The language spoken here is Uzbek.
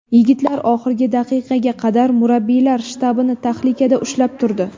Yigitlar oxirgi daqiqaga qadar murabbiylar shtabini tahlikada ushlab turdi.